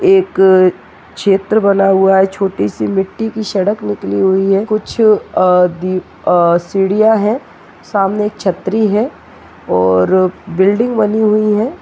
एक क्षेत्र बना हुआ है छोटी सी मिट्टी की सड़क निकली हुई है कुछ अ सीढ़िया है सामने छतरी है और बिल्डिंग बनी हुई है।